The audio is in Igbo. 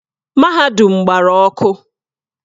Mahadum gbara ọkụ.